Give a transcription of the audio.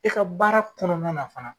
E ka baara kɔnɔna na fana.